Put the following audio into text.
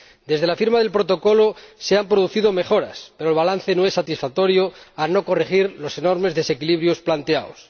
Desde la firma del Protocolo se han producido mejoras, pero el balance no es satisfactorio al no corregir los enormes desequilibrios planteados.